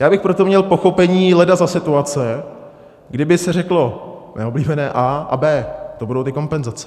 Já bych pro to měl pochopení leda za situace, kdyby se řeklo mé oblíbené A - a B, to budou ty kompenzace.